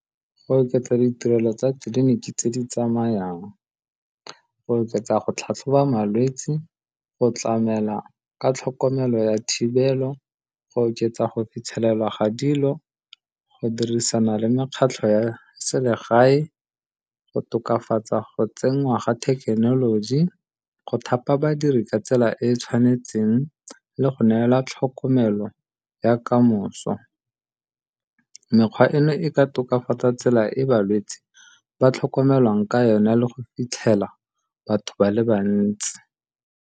Go oketsa ditirelo tsa tleliniki tse di tsamayang, go oketsa go tlhatlhoba malwetsi, go tlamela ka tlhokomelo ya thibelo, go oketsa go fitlhelelwa ga dilo, go dirisana le mekgatlho ya selegae, go tokafatsa go tsenngwa ga thekenoloji, go thapa badiri ka tsela e e tshwanetseng le go neela tlhokomelo ya ka moso. Mekgwa eno e ka tokafatsa tsela e balwetsi ba tlhokomelwang ka yona le go fitlhela batho ba le bantsi.